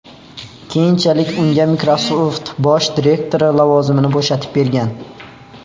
Keyinchalik unga Microsoft bosh direktori lavozimini bo‘shatib bergan.